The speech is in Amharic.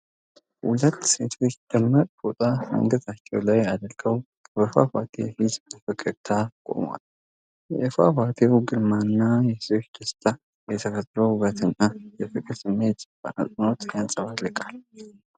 ሁለት ሴቶች ደማቅ ፎጣ አንገታቸው ላይ አድርገው በፏፏቴ ፊት በፈገግታ ቆመዋል። የፏፏቴው ግርማና የሴቶቹ ደስታ የተፈጥሮን ውበትና የፍቅር ስሜት በአጽንዖት ያንጸባርቃል።